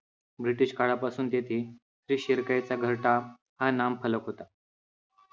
ब्रिटीशकाळापासून तेथे श्री शिरकाई चा घरटा हा नामफलक होता.